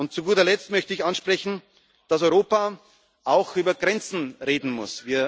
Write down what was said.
ist. Zu guter Letzt möchte ich ansprechen, dass Europa auch über Grenzen reden